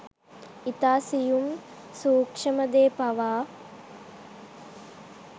ඉතා සියුම් සූක්‍ෂම දේ පවා